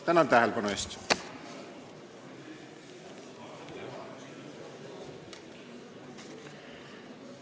Tänan tähelepanu eest!